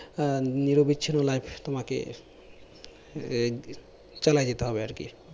আহ নিরবিচ্ছিন্ন life তোমাকে আহ চালাই যেতে হবে আরকি